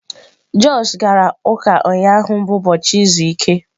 Josh gara ụka ụnyahụ bụ ụbọchị izu ike.